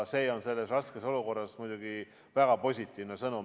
See on selles raskes olukorras muidugi väga positiivne sõnum.